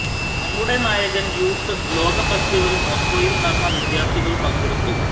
നമ്മുടെ നായകൻ യൂത്ത് ലോക ഫെസ്റ്റിവൽ മോസ്കോയിൽ നടന്ന വിദ്യാർത്ഥികൾ പങ്കെടുത്തു